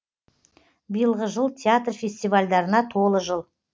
биылғы жыл театр фестивальдарына толы жыл